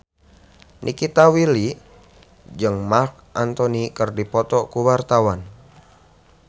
Nikita Willy jeung Marc Anthony keur dipoto ku wartawan